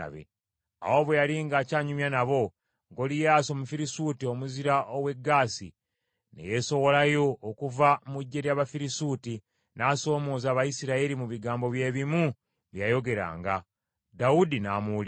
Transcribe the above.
Awo bwe yali ng’aky’anyumya nabo, Goliyaasi, Omufirisuuti omuzira ow’e Gaasi, ne yeesowolayo okuva mu ggye ly’Abafirisuuti n’asoomooza Abayisirayiri mu bigambo bye bimu bye yayogeranga. Dawudi n’amuwulira.